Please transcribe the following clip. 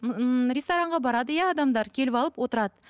ыыы ресторандарға барады иә адамдар келіп алып отырады